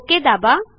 okay दाबा